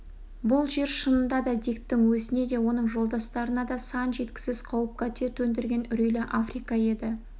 бұл жер шынында да диктің өзіне де оның жолдастарына да сан жеткісіз қауіп-қатер төндірген үрейлі африка еді